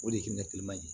O de ye hinɛ ye